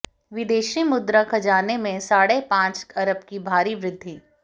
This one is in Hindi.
विदेशी मुद्रा खजाने में साढ़े पांच अरब की भारी वृद्धि